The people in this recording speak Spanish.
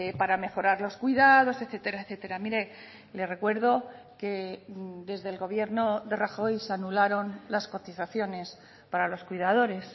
para mejorar los cuidados etcétera etcétera mire le recuerdo que desde el gobierno de rajoy se anularon las cotizaciones para los cuidadores